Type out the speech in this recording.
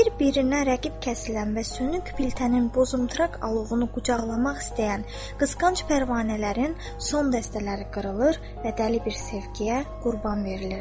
Bir-birinə rəqib kəsilən və süni piltənin bozunturaq alovunu qucaqlamaq istəyən qısqanc pərvanələrin son dəstələri qırılır və dəli bir sevgiyə qurban verilirdi.